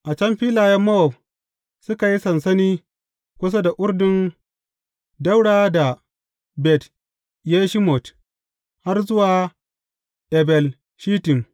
A can filayen Mowab, suka yi sansani kusa da Urdun ɗaura da Bet Yeshimot har zuwa Abel Shittim.